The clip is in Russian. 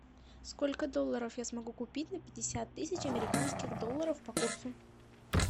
сколько долларов я смогу купить на пятьдесят тысяч американских долларов по курсу